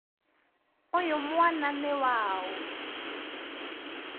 ũyũ mwana nĩ waũ?